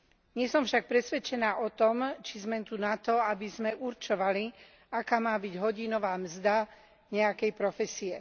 Nie som však presvedčená o tom, či sme tu na to, aby sme určovali, aká má byť hodinová mzda nejakej profesie.